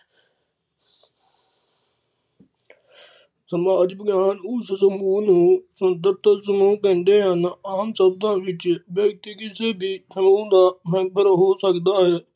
ਸਮਾਜ ਵਿਗਿਆਨ ਉਸ ਸਮੂਹ ਨੂੰ ਸੁੰਦਰਤਲ ਸਮੂਹ ਕਹਿੰਦੇ ਹਨ ਆਮ ਸ਼ਬਦਾਂ ਵਿੱਚ ਵਿਅਕਤੀ ਕਿਸੇ ਵੀ ਸਮੂਹ ਦਾ member ਹੋ ਸਕਦਾ ਹੈ